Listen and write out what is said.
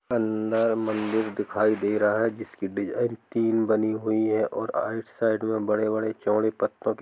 अंदर मंदिर दिखाई दे रहा है जिसकी डिसीजन तीन बानी हुआ है ओर साइड में बड़े बड़े चौड़े प् --